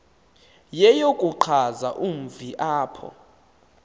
yeyokuchaza umzi apho